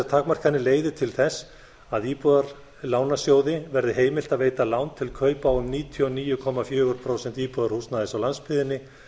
takmarkanir leiði til þess að íbúðalánasjóði verði heimilt að veita lán til kaupa á um níutíu og níu komma fjögur prósent íbúðarhúsnæðis á landsbyggðinni